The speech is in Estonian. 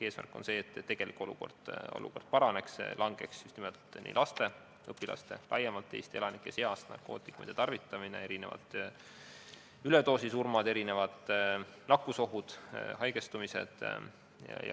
Eesmärk on see, et tegelik olukord paraneks, just nimelt nii laste, õpilaste kui ka laiemalt Eesti elanike seas narkootikumide tarvitamine väheneks, väheneks üledoosisurmade arv, nakkusoht, haigestumine.